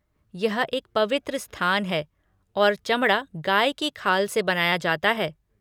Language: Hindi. यह एक पवित्र स्थान है और चमड़ा गाय की खाल से बनाया जाता है।